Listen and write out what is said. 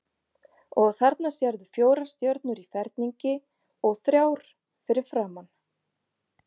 Og þarna sérðu fjórar stjörnur í ferningi og þrjár fyrir framan.